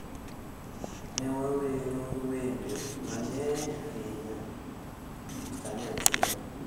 Ne wawero wende mang’eny ahinya kanyachiel